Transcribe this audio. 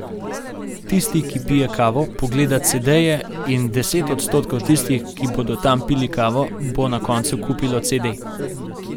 Tisti, ki pije kavo, pogleda cedeje, in deset odstotkov tistih, ki bodo tam pili kavo, bo na koncu kupilo cede.